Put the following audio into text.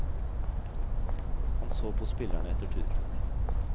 Han så på spillerne etter tur.